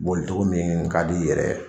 Boli togo min ka d'i yɛrɛ ye.